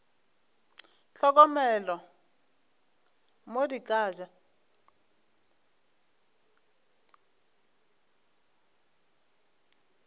hlokomele mo di ka ja